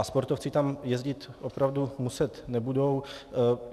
A sportovci tam jezdit opravdu muset nebudou.